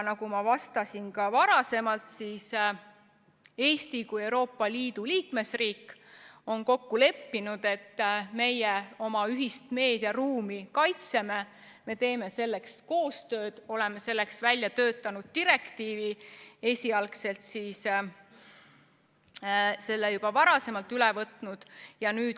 Nagu ma ka varem vastasin, on Eesti kui Euroopa Liidu liikmesriik kokku leppinud, et meie oma ühist meediaruumi kaitseme, me teeme selleks koostööd, oleme selleks välja töötanud direktiivi ja selle esialgse variandi juba ka üle võtnud.